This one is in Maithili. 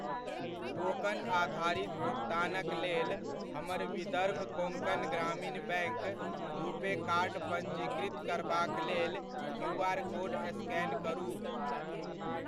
टोकन आधारित भुकतानक लेल हमर Vidarbha Konkan Gramin Bank RuPay card पञ्जीकृत करबाक लेल क्यूआर कोड स्कैन करु।